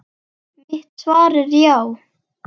Mitt svar er já.